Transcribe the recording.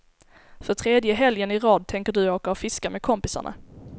För tredje helgen i rad tänker du åka och fiska med kompisarna.